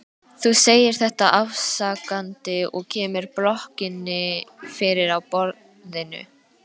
Þú segir þetta afsakandi og kemur blokkinni fyrir á borðinu.